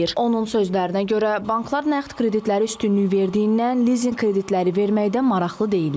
Onun sözlərinə görə, banklar nağd kreditləri üstünlük verdiyindən lizinq kreditləri verməkdə maraqlı deyillər.